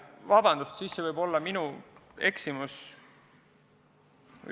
Jaa, vabandust, siis see oli minu eksimus!